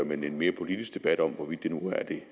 men en mere politisk debat om hvorvidt det nu er det